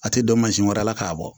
A tɛ don mansin wɛrɛ la k'a bɔ